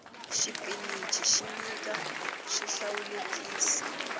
xipinici xi nyika swihlawulekisi